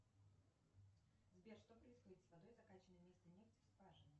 сбер что происходит с водой закаченной вместо нефти в скважину